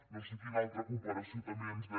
no sé quina altra comparació també ens deia